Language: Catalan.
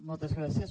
moltes gràcies